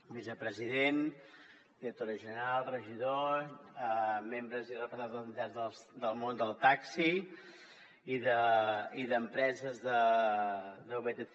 vicepresident directora general regidors membres i representants del món del taxi i d’empreses de vtc